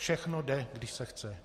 Všechno jde, když se chce.